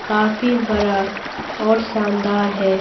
काफी बड़ा और शानदार है।